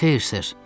Xeyr, ser.